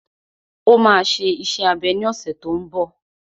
Ó máa ṣe iṣẹ́ abẹ ní ọ̀sẹ̀ tó n bọ̀